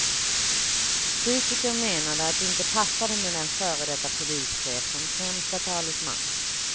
Kritiker menade att det inte passade med en före detta polischef som främsta talesman.